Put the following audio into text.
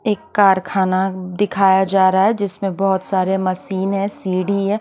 एक कारखाना दिखाया जा रहा है जिसमे बोहोत सारे मशीन है सीडी है।